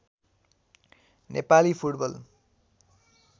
Nepali football